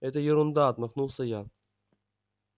это ерунда отмахнулся я